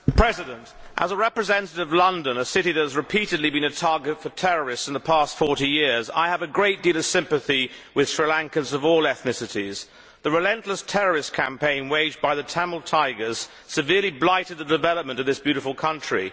Mr President, as a representative of London, a city that has repeatedly been a target for terrorists in the past 40 years, I have a great deal of sympathy with Sri Lankans of all ethnicities. The relentless terrorist campaign waged by the Tamil Tigers severely blighted the development of that beautiful country.